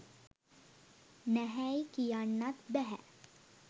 නැහැයි කියන්නත් බැහැ.